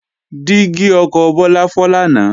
Dígí ọkọ̀ Bọ́lá fọ́ lánàá